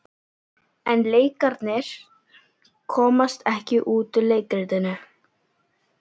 En leikararnir komast ekki út úr leikritinu.